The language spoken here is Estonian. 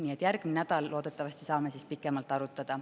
Nii et järgmisel nädalal loodetavasti saame pikemalt arutada.